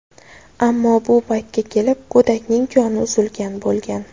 Ammo bu paytga kelib go‘dakning joni uzilgan bo‘lgan.